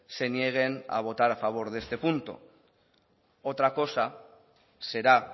se nieguen a votar a favor de este punto otra cosa será